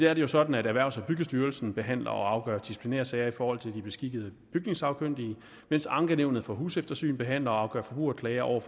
er det jo sådan at erhvervs og byggestyrelsen behandler og afgør disciplinærsager i forhold til de beskikkede bygningssagkyndige mens ankenævnet for huseftersyn behandler og afgør forbrugerklager over